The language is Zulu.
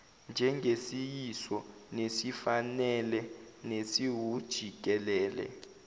njengesiyiso nesifanele nesiwujikelele